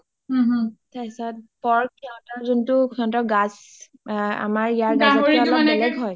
তাৰপিছত pork সিহতৰ যোনটো গাছ , আমাৰ ইয়াৰতকে অলপ বেলেগ হয়